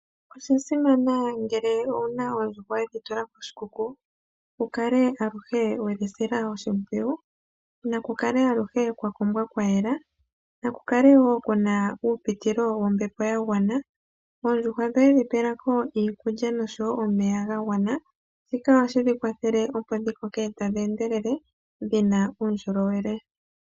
Osha simana ngele owu na oondjuhwa we dhi tula koshikuku, wu kale aluhe we dhi sila oshimpwiyu. Naku kale aluhe kwa kombwa kwa yela, naku kale wo ku na uupitilo wombepo ya gwana, oondjuhwa dhoye dhi pela ko iikulya noshowo omeya ga gwana, shika ohashi dhi kwathele, opo dhi koke tadhi endelele dhi na uundjolowele.